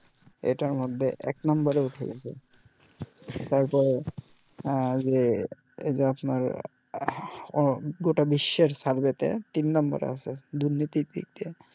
এটার মধ্যে এক number এ উঠে গেছে তারপরে যে এই যে আপনার গোটা বিশ্বের survey তে তিন number এ আছে দুর্নীতির দিক দিয়ে